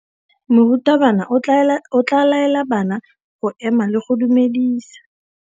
Morutabana o tla laela bana go ema le go go dumedisa.